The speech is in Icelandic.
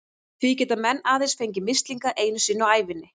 Því geta menn aðeins fengið mislinga einu sinni á ævinni.